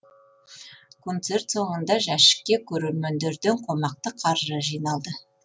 концерт соңында жәшікке көрермендерден қомақты қаржы жиналды